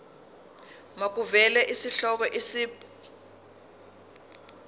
makuvele isihloko isib